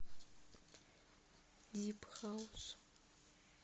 дип хаус